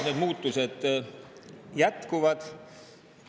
Need muutused jätkuvad.